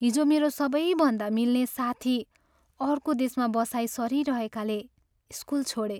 हिजो मेरो सबैभन्दा मिल्ने साथी अर्को देशमा बसाइँ सरिरहेकाले स्कुल छोडे।